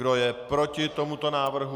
Kdo je proti tomuto návrhu?